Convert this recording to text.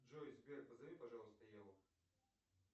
джой сбер позови пожалуйста еву